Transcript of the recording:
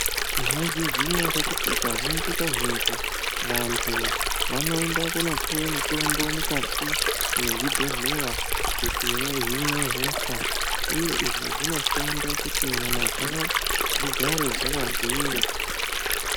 Mwaizviya ere kuti kazhinji kazhinji vantu vanoende kunopuwe mitombo mukati mezvibhedhlera kuti vahine hosha uye izvi zvinoshanda kuti nyama dzawo dzigare dzakagwinya.